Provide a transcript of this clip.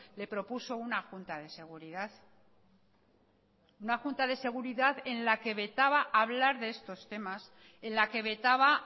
le propuso una junta de seguridad una junta de seguridad en la que vetaba hablar de estos temas en la que vetaba